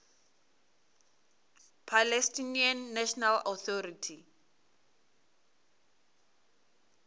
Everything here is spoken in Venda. palestinian national authority